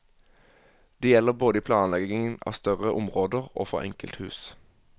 Det gjelder både i planleggingen av større områder og for enkelthus.